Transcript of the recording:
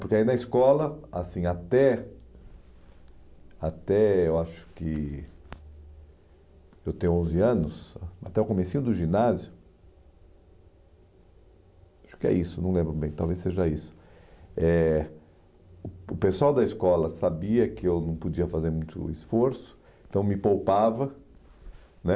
Porque aí na escola, assim, até até eu acho que eu ter onze anos, ah até o comecinho do ginásio, acho que é isso, não lembro bem, talvez seja isso, eh o o pessoal da escola sabia que eu não podia fazer muito esforço, então me poupava, né?